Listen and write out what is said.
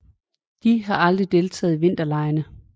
De har aldrig deltaget i vinterlege